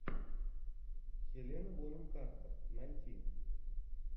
хелена бонем картер найти